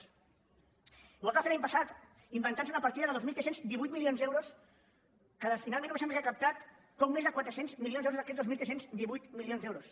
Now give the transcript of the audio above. igual que va fer l’any passat inventantse una partida de dos mil tres cents i divuit milions d’euros que finalment només hem recaptat poc més de quatre cents milions d’euros d’aquests dos mil tres cents i divuit milions d’euros